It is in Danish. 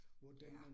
Ja